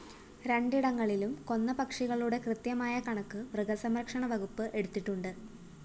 രണ്ടിടങ്ങളിലും കൊന്ന പക്ഷികളുടെ കൃത്യമായ കണക്ക് മൃഗസംരക്ഷണവകുപ്പ് എടുത്തിട്ടുണ്ട്